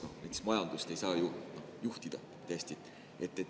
Näiteks majandust ei saa ju juhtida hästi.